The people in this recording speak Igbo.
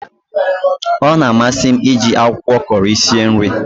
Ọ na amasi m iji akwụkwọ Kọri sie nri